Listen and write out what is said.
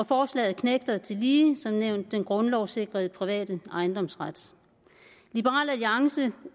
forslaget knægter tillige den grundlovssikrede private ejendomsret liberal alliance